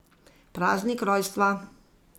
Praznik rojstva.